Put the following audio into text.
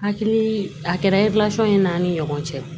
Hakili a kɛra ye n'an ni ɲɔgɔn cɛ